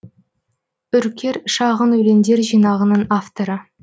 үркер шағын өлеңдер жинағының авторы